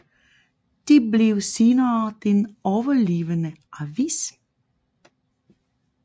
Det blev senere den overlevende avis